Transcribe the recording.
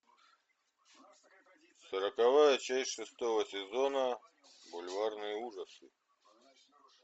сороковая часть шестого сезона бульварные ужасы